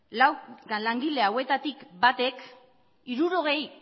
lau langile hauetatik batek hirurogei